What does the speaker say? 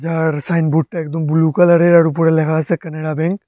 আর সাইনবোর্ডটা একদম ব্লু কালারের আর উপরে লেখা আছে কানাড়া ব্যাঙ্ক ।